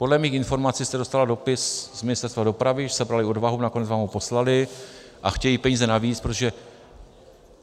Podle mých informací jste dostala dopis z Ministerstva dopravy, že sebrali odvahu, nakonec vám ho poslali a chtějí peníze navíc, protože...